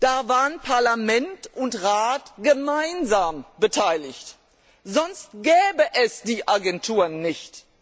Da waren Parlament und Rat gemeinsam beteiligt, sonst gäbe es die Agenturen nicht.